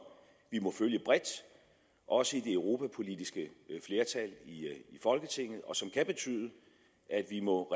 vi må følge bredt også i det europapolitiske flertal i folketinget og som kan betyde at vi må